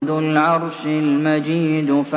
ذُو الْعَرْشِ الْمَجِيدُ